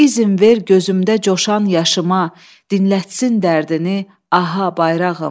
İzin ver gözümdə coşan yaşıma, dinlətsin dərdini aha bayrağım.